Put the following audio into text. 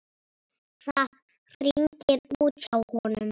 Það hringir út hjá honum.